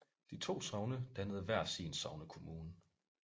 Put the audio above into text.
De to sogne dannede hver sin sognekommune